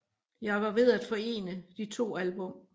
Jeg var ved at forene de to album